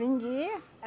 Vendia.